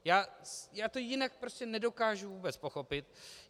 Já to jinak prostě nedokážu vůbec pochopit.